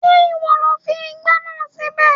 Ṣé ìwọ lo fi ìgbá náà síbẹ̀?